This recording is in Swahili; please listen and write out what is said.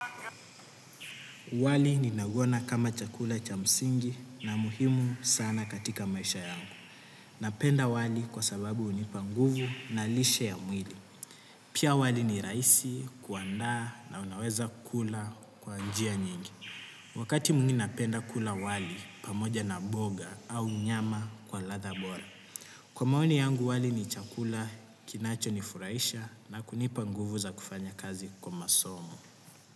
Wali ninauona kama chakula cha msingi na muhimu sana katika maisha yangu. Napenda wali kwa sababu hunipa nguvu na lishe ya mwili. Pia wali ni rahisi kuandaa na unaweza kula kwa njia nyingi. Wakati mwingi napenda kula wali pamoja na boga au nyama kwa ladha bora. Kwa maoni yangu wali ni chakula kinachonifuraisha na kunipa nguvu za kufanya kazi kwa masomo.